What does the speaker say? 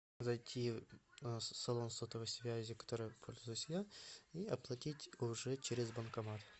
зайти в салон сотовой связи которым пользуюсь я и оплатить уже через банкомат